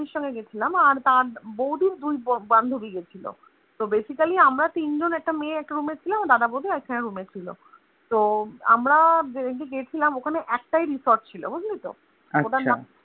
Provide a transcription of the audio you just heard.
সঙ্গে গিয়েছিলাম আর তার বৌদির দুই বান্ধুবি গিয়েছিল তো Basically আমরা তিনজন একটা মেয়ে এক Room এ ছিলাম আর দাদা বৌদি একটা room এ ছিল তো আমরা যেহুতু গিয়েছিলাম ওখানে একটাই Resort ছিল বু‌‌ঝলিত